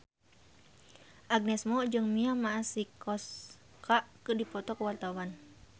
Agnes Mo jeung Mia Masikowska keur dipoto ku wartawan